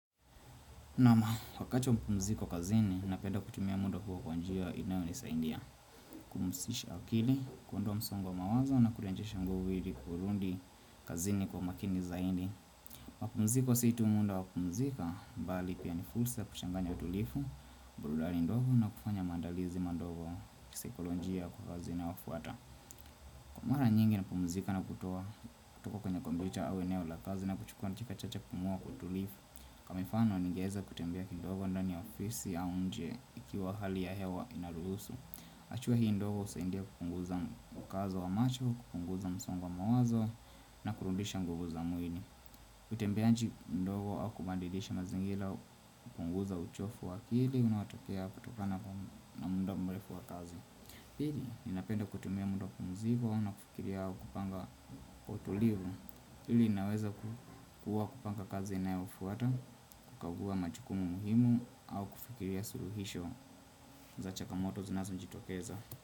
Naam, wakati wa mapumziko kazini napenda kutumia muda huo kwa njia inayonisaidia kupumzisha akili, kuondoa msongo wa mawazo na kurejesha nguvu ili kurudi kazini kwa makini zaidi mapumziko sio tu muda wa kupumzika, bali pia ni fursa kuchanganya utulivu, burudani ndogo na kufanya maandalizi madogo ya kisaikolojia kwa kazi inayofuata Kwa mara nyingi napumzika na kutoa, kutoka kwenye kompyuta au eneo la kazi na kuchukua dakika chache kupumua kwa utulivu. Kwa mfano ningeweza kutembea kidogo ndani ya ofisi ya nje ikiwa hali ya hewa inaruhusu hatua hii ndogo husaidia kupunguza ukazo wa macho, kupunguza msongo wa mawazo na kurudisha nguvu za mwili kutembea nje ndogo au kubadilisha mazingira hupunguza uchovu wa akili unaotokea kutokana na muda mrefu wa kazi Pili, ninapenda kutumia muda wa kupumzika na kufikiria kupanga kwa utulivu Hii inaweza ku kuwa kupanga kazi inayofuata, kukagua majukumu muhimu au kufikiria suluhisho za changamoto zinazojitokeza.